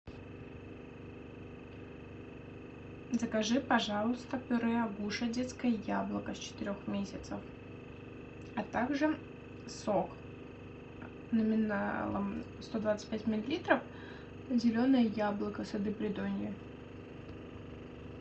закажи пожалуйста пюре агуша детское яблоко с четырех месяцев а также сок номиналом сто двадцать пять миллилитров зеленое яблоко сады придонья